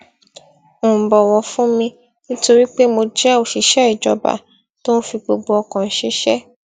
ń bòwò fún mi nítorí pé mo jé òṣìṣé ìjọba tó ń fi gbogbo ọkàn ṣiṣé